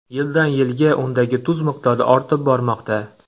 Yildan - yilga undagi tuz miqdori ortib bormoqda.